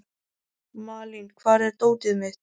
Malín, hvar er dótið mitt?